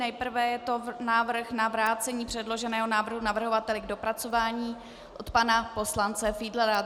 Nejprve je to návrh na vrácení předloženého návrhu navrhovateli k dopracování od pana poslance Fiedlera.